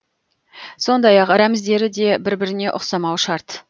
сондай ақ рәміздері де бір біріне ұқсамауы шарт